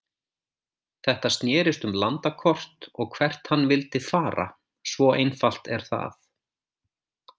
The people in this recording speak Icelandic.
Þetta snérist um landakort og hvert hann vildi fara, svo einfalt er það.